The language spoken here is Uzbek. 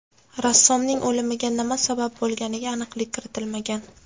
Rassomning o‘limiga nima sabab bo‘lganiga aniqlik kiritilmagan.